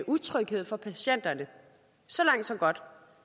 utryghed for patienterne så langt så godt